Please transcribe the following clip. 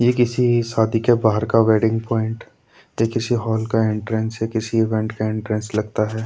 ये किसी सादि के बाहर का वेडिंग पॉइंट तो किसी हॉल का इनट्रान्स ये किसी इवेंट का इनट्रान्स लगता है।